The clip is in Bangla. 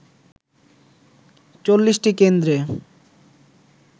৪০টি কেন্দ্রে